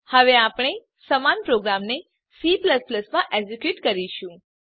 હવે આપણે સમાન પ્રોગ્રામને C માં એક્ઝેક્યુટ કરીશું